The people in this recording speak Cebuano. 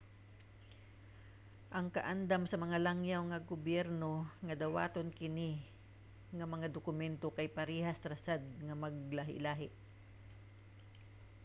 ang kaandam sa mga langyaw nga gobyerno nga dawaton kini nga mga dokumento kay parehas ra sad nga maglahi-lahi